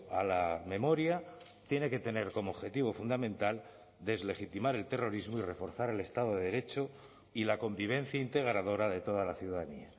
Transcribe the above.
a la memoria tiene que tener como objetivo fundamental deslegitimar el terrorismo y reforzar el estado de derecho y la convivencia integradora de toda la ciudadanía